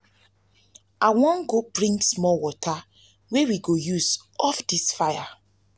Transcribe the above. i wan go bring small water wey we go use off dis fire.